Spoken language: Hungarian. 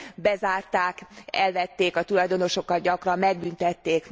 bezárták, elvették, a tulajdonosokat gyakran megbüntették.